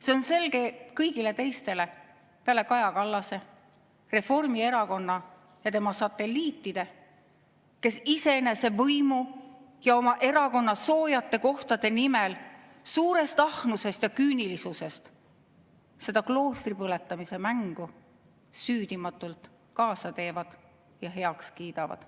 See on selge kõigile teistele peale Kaja Kallase, Reformierakonna ja tema satelliitide, kes iseenese võimu ja oma erakonna soojade kohtade nimel suurest ahnusest ja küünilisusest seda kloostri põletamise mängu süüdimatult kaasa teevad ja heaks kiidavad.